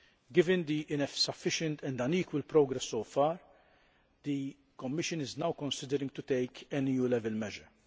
Given the insufficient and unequal progress so far, the Commission is now considering taking an EU level measure.